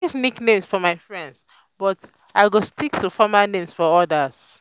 i dey use nicknames for my friends but i go stick to formal names for others.